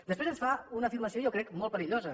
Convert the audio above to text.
després ens fa una afirmació jo crec molt perillosa